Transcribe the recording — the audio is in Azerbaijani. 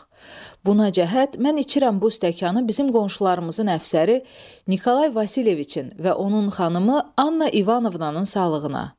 Buna cəhət mən içirəm bu stəkanı bizim qonşularımızın əfsəri Nikolay Vasilyeviçin və onun xanımı Anna İvanovnanın sağlığına.